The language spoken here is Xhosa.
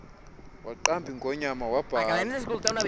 waqamba ingonyana wabhala